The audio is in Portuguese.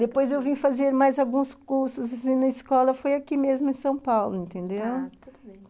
Depois eu vim fazer mais alguns cursos e na escola foi aqui mesmo em São Paulo, entendeu? Tá , tudo bem.